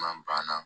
Man banna